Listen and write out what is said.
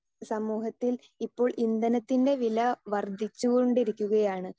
Speaker 2 സമൂഹത്തിൽ ഇപ്പോൾ ഇന്ധനത്തിൻ്റെ വില വർദ്ധിച്ചു കൊണ്ടിരിക്കുകയാണ്.